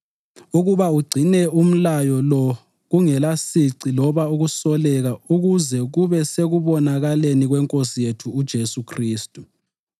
ukuba ugcine umlayo lo kungelasici loba ukusoleka kuze kube sekubonakaleni kweNkosi yethu uJesu Khristu,